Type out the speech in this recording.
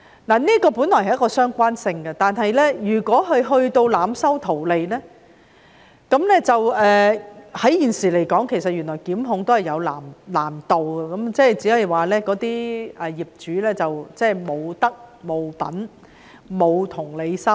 這本來有相關性，但如果"劏房"業主濫收費用圖利，現時檢控原來也有難度，只可以指責業主無德、無品、無同理心。